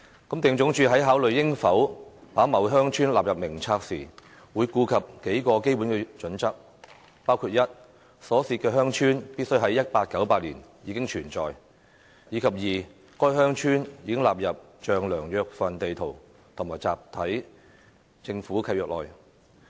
地政總署在考慮應否把某鄉村納入名冊時，會顧及幾個基本準則，包括 i 所涉鄉村必須在1898年已經存在，以及該鄉村已納入丈量約份地圖和集體政府契約內。